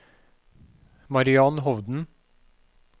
Mariann Hovden